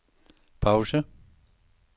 pause